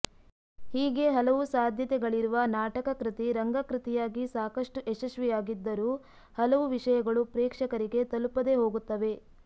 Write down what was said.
ಹೀಗೆ ಹಲವು ಸಾಧ್ಯತೆಗಳಿರುವ ನಾಟಕಕೃತಿ ರಂಗಕೃತಿಯಾಗಿ ಸಾಕಷ್ಟು ಯಶಸ್ವಿಯಾಗಿದ್ದರೂ ಹಲವು ವಿಷಯಗಳು ಪ್ರೇಕ್ಷಕರಿಗೆ ತಲುಪದೇಹೋಗುತ್ತವೆ